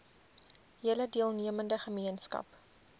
hele deelnemende gemeenskap